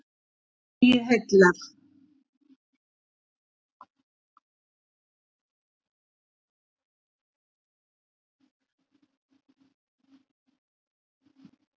Flugið heillar